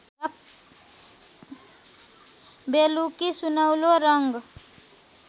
बेलुकी सुनौलो रङ्ग